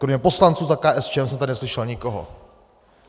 Kromě poslanců za KSČM jsem tady neslyšel nikoho.